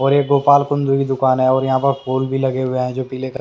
और ये गोपाल कुंदु की दुकान है और यहाँ पर फूल भी लगे हुए हैं जो पीले कलर ।